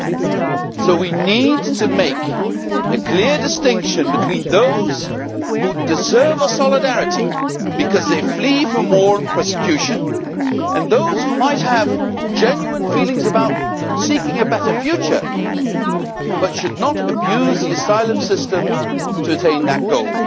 For that reason, we need to make a clear distinction between those who deserve our solidarity because they flee from war and persecution, and those who might have genuine feelings about seeking a better future but should not abuse the asylum system to attain that goal.